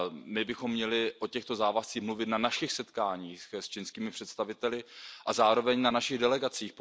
My bychom měli o těchto závazcích mluvit na našich setkáních s čínskými představiteli a zároveň na našich delegacích.